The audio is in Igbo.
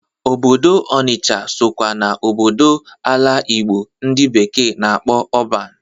Obodo Ọnịsha sokwa na obodo ala Igbo ndị bekee na-akpọ ọban.